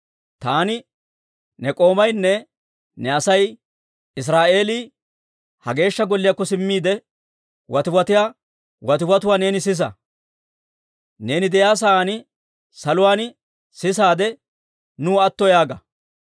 Taani ne k'oomaynne ne Asay Israa'eelii ha Geeshsha Golliyaakko simmiide, watiwatiyaa watiwatuwaa neeni sisa. Neeni de'iyaa saan saluwaan sisaadde, nuw atto yaaga.